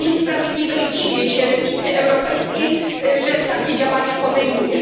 To jest niesprawiedliwe i dziwię się lewicy europejskiej, że takie działania podejmuje.